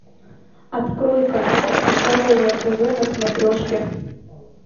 открой канал здоровое тв на смотрешке